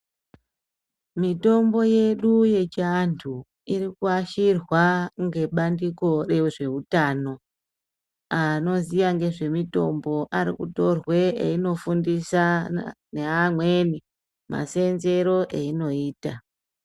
Mitombo yedu yechiantu irikuashirwa ngebandiko rezveutano anoziya ngezvemitombo arikutorwe einofundisana neamweni maseenzero ainoita.